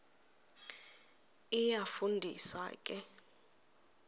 iyafu ndisa ke